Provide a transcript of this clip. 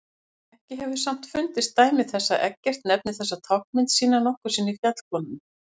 Ekki hefur samt fundist dæmi þess að Eggert nefni þessa táknmynd sína nokkru sinni fjallkonuna.